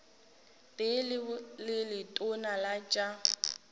tee le letona la tša